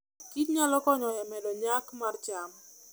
kich nyalo konyo e medo nyak mar cham.